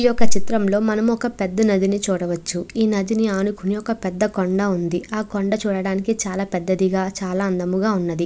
ఈ యొక్క చిత్రంలో మనం ఒక పెద్ద నదిని చూడవచ్చు. ఈ నదిని ఆనుకొని ఒక పెద్ద కొండ ఉంది. ఆ కొండ చుట్టూ వెళ్లడానికి చాలా పెద్దదిగా చాలా అందముగా ఉన్నది.